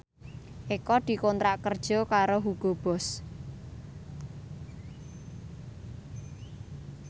Eko dikontrak kerja karo Hugo Boss